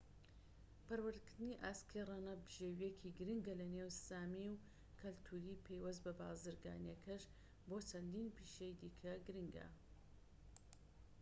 پەروەردەکردنی ئاسکی ڕەنە بژێوییەکی گرنگە لە نێو سامیی و کەلتوری پەیوەست بە بازرگانیەکەش بۆ چەندین پیشەی دیکە گرنگە